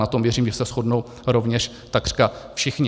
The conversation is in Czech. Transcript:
Na tom, věřím, že se shodnou rovněž takřka všichni.